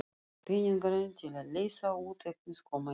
Peningarnir til að leysa út efnið koma ekki.